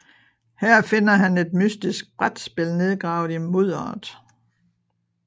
Her finder han et mystisk brætspil nedgravet i mudderet